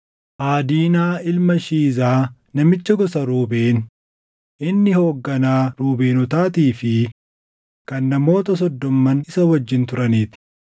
Aadiinaa ilma Shiizaa namicha gosa Ruubeen, inni hoogganaa Ruubeenotaatii fi kan namoota Soddomman isa wajjin turanii ti;